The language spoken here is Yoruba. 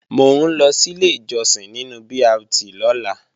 Mò ń lọ sílé ìjọsìn nínu BRT lọ́la